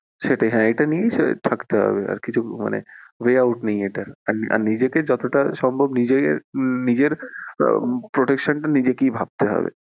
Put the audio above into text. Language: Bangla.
সেটাই হ্যাঁ এটা নিয়েই থাকতে হবে আর কিছু মানে way out নেই এটার আর নিজেকে যতটা সম্ভব নিজে নিজের protection টা নিজেকেই ভাবতে হবে, হ্যাঁ সেটাই।